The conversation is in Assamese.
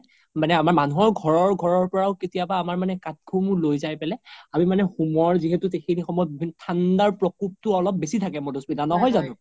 মানে আমাৰ মনুহৰ ঘৰৰ ঘৰৰ পৰাও কেতিয়াবা আমাৰ মানে কাঠ সমুহ লৈ যাই পেলে আমি মানে হোমৰ যিহেতু সেইখিনি সময়ত ঠাণ্ডাৰ প্ৰকুবতো অলপ বেচি থাকে মাধুস্মিতা নহয় জনো ?